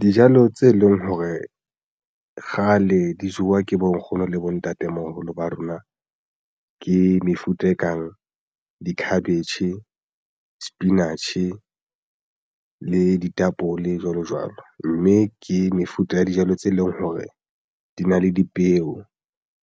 Dijalo tse leng hore kgale di jowa ke bo nkgono le bontatemoholo ba rona ke mefuta e kang di-cabbage, sepinatjhe le ditapole jwalo jwalo, mme ke mefuta ya dijalo tse leng hore di na le dipeo.